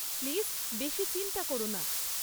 Please বেশি চিন্তা কোরো না।